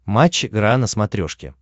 матч игра на смотрешке